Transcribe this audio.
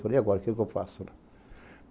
Falei, e agora, o que que eu faço?